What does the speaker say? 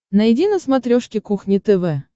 найди на смотрешке кухня тв